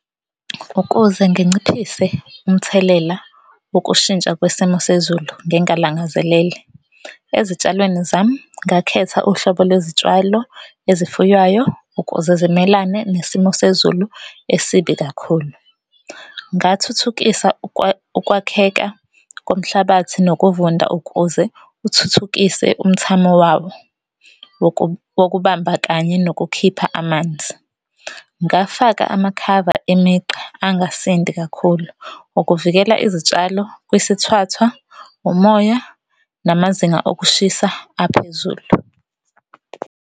Ukuze nginciphise umthelela wokushintsha kwesimo sezulu ngingalangazelele, ezitshalweni zami ngakhetha uhlobo lwezitshalo ezifuywayo ukuze zimelane nesimo sezulu esibi kakhulu. Ngathuthukisa ukwakheka komhlabathi nokuvunda ukuze uthuthukise umthamo wawo wokubamba kanye nokukhipha amanzi. Ngafaka amakhava emigqa angasindi kakhulu ukuvikela izitshalo kwisithwathwa, umoya, namazinga okushisa aphezulu.